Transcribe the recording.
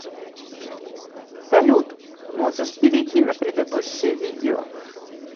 салют можешь перейти на предыдущее видео